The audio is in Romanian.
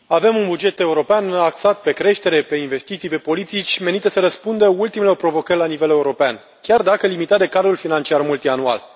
Avem un buget european axat pe creștere, pe investiții, pe politici menite să răspundă ultimelor provocări la nivel european, chiar dacă este limitat de cadrul financiar multianual.